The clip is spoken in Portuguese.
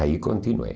Aí continuei.